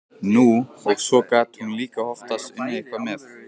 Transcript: Nú, og svo gat hún líka oftast unnið eitthvað með.